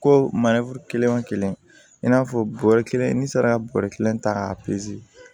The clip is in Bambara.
Ko kelen wo kelen i n'a fɔ bɔrɛ kelen ni sera bɔrɔ kelen ta k'a